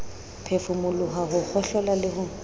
phefumoloho ho kgohlola le ho